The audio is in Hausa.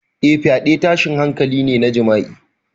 Eh, fyaɗe tashin hankali ne na jima'i.